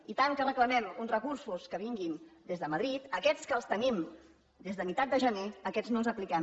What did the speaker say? i tant que reclamem uns recursos que vinguin des de madrid aquests que els tenim des de meitat de gener aquests no els apliquem